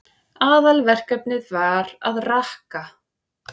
Aðalverkefnið var að rakka.